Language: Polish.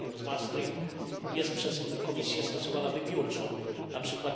kryterium z Maastricht, jest przez Komisję stosowana wybiórczo np.